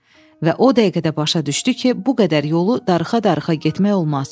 Və o dəqiqə də başa düşdü ki, bu qədər yolu darıxa-darıxa getmək olmaz.